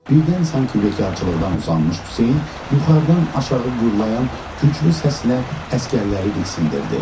Birdən sanki bekarçılıqdan usanmış Hüseyn yuxarıdan aşağı gürlayan güclü səslə əsgərləri diksindirdi.